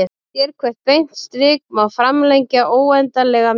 Sérhvert beint strik má framlengja óendanlega mikið.